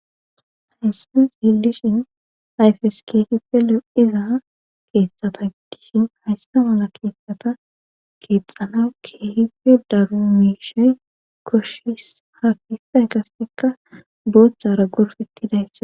hayssan xiillishin ayfes keehife le7iza keeththata dishin haysta mala keeththata keexxana keehife daru miishay koshshis hafiay gastikka booththara gorfetti dayssa